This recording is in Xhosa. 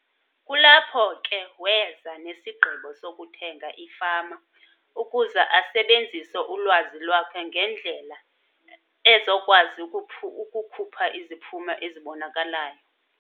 Kulapho ke weza nesigqibo sokuthenga ifama ukuze asebenzise ulwazi lwakhe ngendlela ezokwazi ukukhupha iziphumo ezibonakalayo.